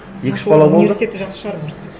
екі үш бала болды университеті жақсы шығар может быть